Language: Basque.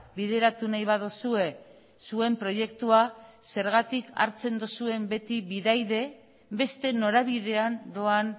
bideratu nahi baduzue zuen proiektua zergatik hartzen duzuen beti bidaide beste norabidean doan